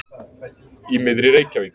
Í miðri Reykjavík.